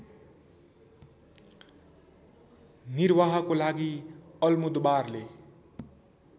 निर्वाहको लागि अल्मोदोबारले